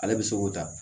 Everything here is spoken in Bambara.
Ale bɛ se k'o ta